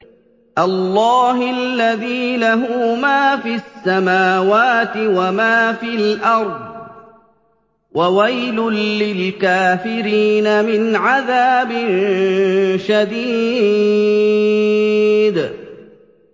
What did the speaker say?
اللَّهِ الَّذِي لَهُ مَا فِي السَّمَاوَاتِ وَمَا فِي الْأَرْضِ ۗ وَوَيْلٌ لِّلْكَافِرِينَ مِنْ عَذَابٍ شَدِيدٍ